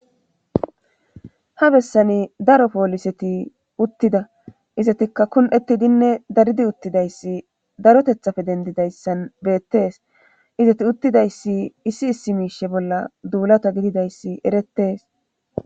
ha bessani daro pooliseti uttida izatikka kun7ettidinne daridi uttidayssi darotethafe dendidayssan beettees izati uttidayssi issi issi miishe bolla duulata gididayssi erettees